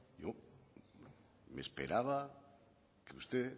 me esperaba que usted